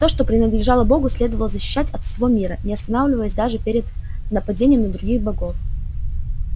то что принадлежало богу следовало защищать от всего мира не останавливаясь даже перед нападением на других богов